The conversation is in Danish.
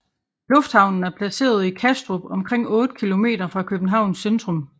Lufthavnen er placeret i Kastrup omkring 8 km fra Københavns centrum